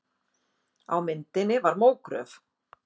Á myndinni var mógröf.